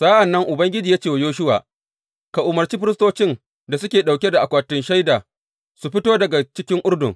Sa’an nan Ubangiji ya ce wa Yoshuwa, Ka umarci firistocin da suke ɗauke da akwatin Shaida su fito daga cikin Urdun.